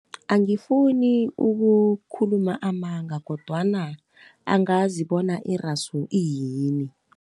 Angifuni ukukhuluma amanga kodwana angazi bona irasu iyini.